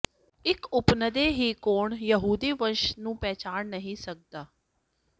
ਇੱਕ ਉਪਨਦੇ ਹੀ ਕੌਣ ਯਹੂਦੀ ਵੰਸ਼ ਨੂੰ ਪਛਾਣ ਨਹੀਂ ਸਕਦਾ